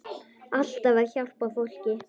Alltaf að hjálpa fólki.